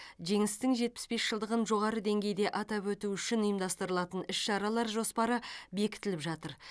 жеңістің жетпіс бес жылдығын жоғары деңгейде атап өту үшін ұйымдастырылатын іс шаралар жоспары бекітіліп жатыр